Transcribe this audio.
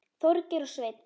Þorgeir og Sveinn.